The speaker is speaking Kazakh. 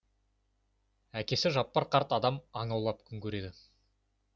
әкесі жаппар қарт адам аң аулап күн көреді